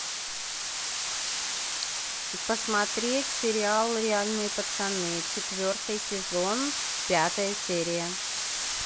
посмотреть сериал реальные пацаны четвертый сезон пятая серия